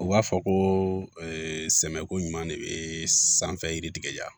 U b'a fɔ ko sɛmɛko ɲuman de bɛ sanfɛ yiri tigɛ yan